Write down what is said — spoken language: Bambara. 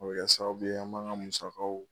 O be sa kɛ sababu ye n b'an ŋa musakaw